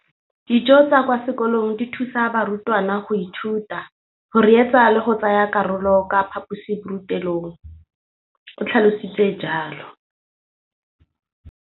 Dijo tsa kwa sekolong dithusa barutwana go ithuta, go reetsa le go tsaya karolo ka fa phaposiborutelong, o tlhalositse jalo.